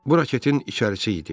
Bu raketin içərisi idi.